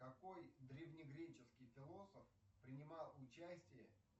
какой древнегреческий философ принимал участие